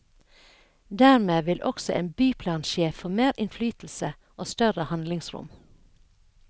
Dermed vil også en byplansjef få mer innflytelse og større handlingsrom.